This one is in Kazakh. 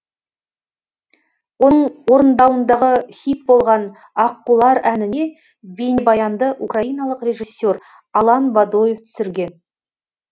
оның орындауындағы хит болған аққулар әніне бейнебаянды украиналық режиссер алан бадоев түсірген